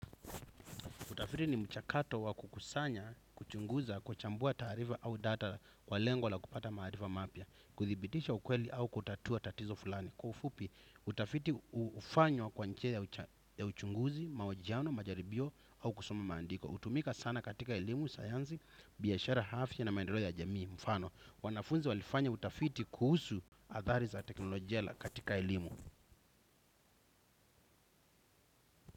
Utafiti ni mchakato wa kukusanya, kuchunguza, kuchambua taarifa au data kwa lengo la kupata maarifa mapya. Kuthibitisha ukweli au kutatua tatizo fulani. Kwa ufupi, utafiti hufanywa kwa njia ya uchunguzi, mahojiano, majaribio au kusoma maandiko. Hutumika sana katika elimu, sayansi, biashara afya na maendeleo ya jamii, mfano. Wanafunzi walifanya utafiti kuhusu athari za teknolojia katika elimu.